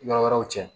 Yɔrɔ wɛrɛw cɛ